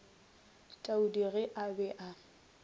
taudi ge a be a